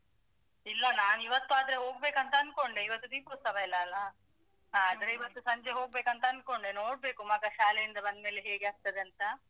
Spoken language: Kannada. ಇಲ್ಲ ನಾವ್ ಇವತ್ತಾದ್ರೆ ಹೋಗ್ಬೇಕಂತ ಅಂದ್ಕೊಂಡೆ. ಇವತ್ತು ದೀಪೋತ್ಸವ ಇಲ್ಲಾ ಅಲಾ? ಆದ್ರೆ ಇವತ್ತು ಸಂಜೆ ಹೋಗ್ಬೇಕಂತ ಅಂದ್ಕೊಂಡೆ ನೋಡ್ಬೇಕು ಮಗ ಶಾಲೆಯಿಂದ ಬಂದ್ಮೇಲೆ ಹೇಗೆ ಆಗ್ತದೆ ಅಂತ.